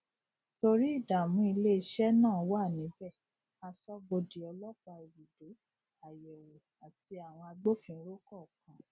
torí ìdààmú ilé iṣẹ náà wà níbẹ aṣọbodè ọlópàá ibùdó àyèwò ati awọn agbófinró kọọkan